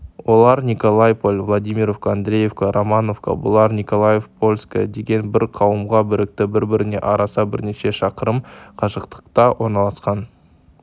олар николайполь владимировка андреевка романовка бұлар николайпольское деген бір қауымға бірікті бір-біріне арасы бірнеше шақырым қашықтықта орналасқан